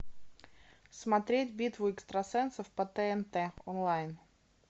смотреть битву экстрасенсов по тнт онлайн